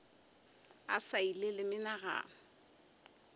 a sa ile le menagano